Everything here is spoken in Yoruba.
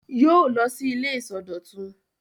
Yóò lọ sí ilé ìsọdọ̀tun!